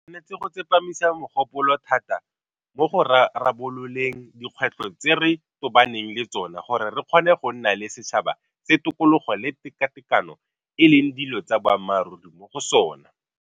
Re tshwanetse go tsepamisa mogopolo thata mo go rarabololeng dikgwetlho tse re tobaneng le tsona gore re kgone go nna le setšhaba se tokologo le tekatekano e leng dilo tsa boammaruri mo go sona.